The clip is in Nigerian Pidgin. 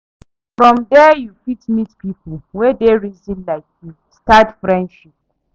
From there you fit meet pipo wey dey reason like you, start friendship